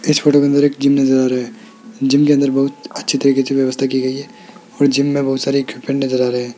इस फोटो के अंदर एक जिम नज़र आ रहा है जिम के अंदर बहुत अच्छी तरीके से व्यवस्था की गयी है और जिम मे बहुत सारे इक्विपमेंट नजर आ रहे है।